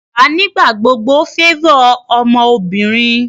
bàbá nigbagbogbo favor ọmọbinrin